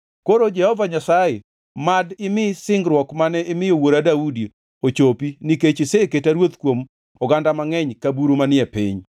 Koro, Jehova Nyasaye, mad imi singruok mane imiyo wuora Daudi ochopi, nikech iseketa ruoth kuom oganda mangʼeny ka buru manie piny.